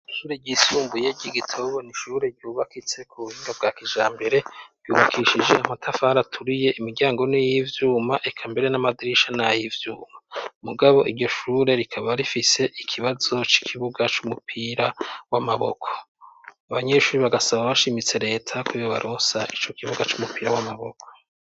Ishure ryisumbuye ry'i Gitobo, n'ishure ryubakitse ku buhinga bwa kijambere, rubakishije amatafari aturiye, imiryango n'iy'ivyuma, eka mbere n'amadirisha, n'ay'ivyuma. Mugabo iryo shure, rikaba rifise ikibazo c'ikibuga c'umupira w'amaboko, abanyeshuri bagasaba bashimitse, leta kubaronsa ico kibuga c'umupira w'amaboko.